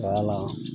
Wala